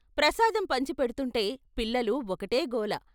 ప్రసాదం పంచి పెడుతుంటే పిల్లలు ఒకటే గోల.